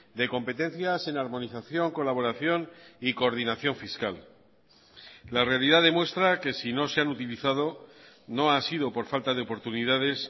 de competencias en armonización colaboración y coordinación fiscal la realidad demuestra que si no se han utilizado no ha sido por falta de oportunidades